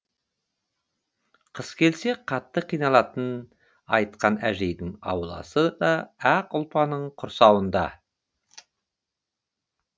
қыс келсе қатты қиналатынын айтқан әжейдің ауласы да ақ ұлпаның құрсауында